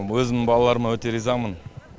өзімнің балаларыма өте ризамын